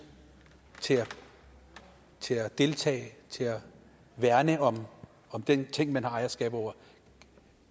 til til at deltage til at værne om den ting man har ejerskab over